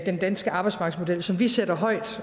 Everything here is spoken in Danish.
den danske arbejdsmarkedsmodel som vi sætter højt